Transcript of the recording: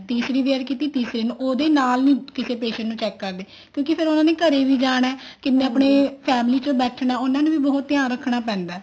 ਤੀਸਰੀ wear ਕੀਤੀ ਤੀਸਰੇ ਨੂੰ ਉਹਦੇ ਨਾਲ ਨੀ ਕੀ patient ਨੂੰ check ਕਰਦੇ ਕਿਉਂਕਿ ਫ਼ੇਰ ਉਹਨਾ ਨੇ ਘਰੇ ਵੀ ਜਾਣਾ ਕਿਸੇ ਆਪਨੇ family ਚ ਬੈਠਣਾ ਉਹਨਾ ਨੇ ਵੀ ਬਹੁਤ ਧਿਆਨ ਰੱਖਣਾ ਪੈਂਦਾ